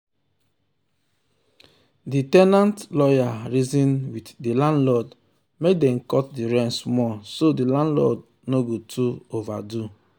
the ten ant lawyer reason with the landlord make dem cut the rent small so the landlord no go too overdo